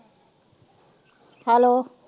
Hello.